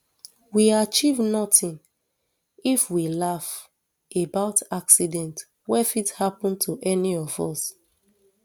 we achieve notin if we laugh about accident wey fit happun to any of us